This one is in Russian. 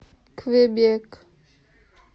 квебек